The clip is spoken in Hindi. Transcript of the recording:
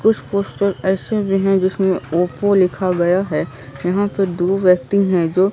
कुछ पोस्टर ऐसे भी हैं जिसमें ओपो लिखा गया है यहां पे दो व्यक्ति हैं जो--